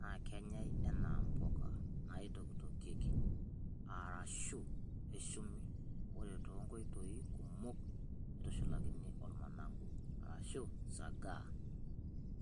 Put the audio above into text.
nakenyay enaa mpuka nakitokitokieki arashu eshumi, ore too nkoitoi kumok neitushulakini ormanagu arashu sagaa.